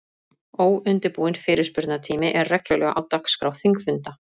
Óundirbúinn fyrirspurnatími er reglulega á dagskrá þingfunda.